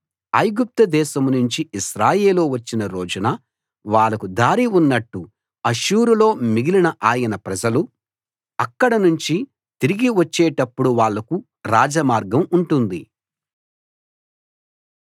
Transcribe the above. ఐగుప్తు దేశం నుంచి ఇశ్రాయేలు వచ్చిన రోజున వాళ్లకు దారి ఉన్నట్టు అష్షూరులో మిగిలిన ఆయన ప్రజలు అక్కడ నుంచి తిరిగి వచ్చేటప్పుడు వాళ్లకు రాజమార్గం ఉంటుంది